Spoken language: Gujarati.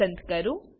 પસંદ કરો